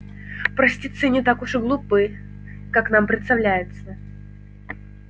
простецы не так уж глупы как нам представляется